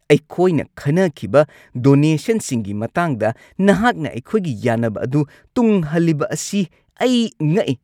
ꯑꯩꯈꯣꯏꯅ ꯈꯟꯅꯈꯤꯕ ꯗꯣꯅꯦꯁꯟꯁꯤꯡꯒꯤ ꯃꯇꯥꯡꯗ ꯅꯍꯥꯛꯅ ꯑꯩꯈꯣꯏꯒꯤ ꯌꯥꯅꯕ ꯑꯗꯨ ꯇꯨꯡ ꯍꯜꯂꯤꯕ ꯑꯁꯤ ꯑꯩ ꯉꯛꯏ꯫